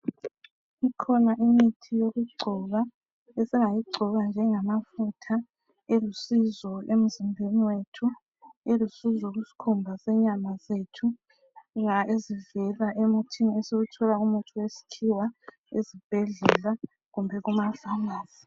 Ikhona imithi yokugcoba esingayigcoba njengamafutha elusizo emizimbeni yethu elusizo kusikhumba senyama zethu ezivela emuthini esiwuthola kumuthi esikhiwa esibhedlela kumbe ema pharmacy.